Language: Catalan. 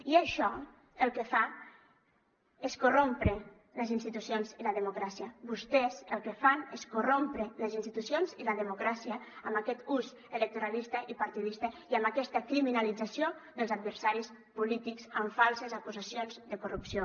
i això el que fa és corrompre les institucions i la democràcia vostès el que fan és corrompre les institucions i la democràcia amb aquest ús electoralista i partidista i amb aquesta criminalització dels adversaris polítics amb falses acusacions de corrupció